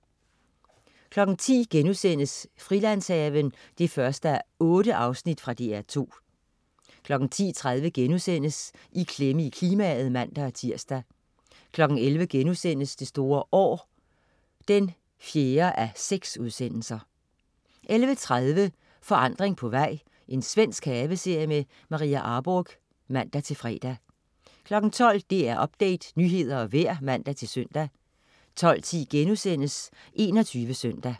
10.00 Frilandshaven 1:8.* Fra DR2 10.30 I klemme i klimaet* (man-tirs) 11.00 Det store år 4:6* 11.30 Forandring på vej. Svensk haveserie. Maria Arborgh (man-fre) 12.00 DR Update. Nyheder og vejr (man-søn) 12.10 21 Søndag*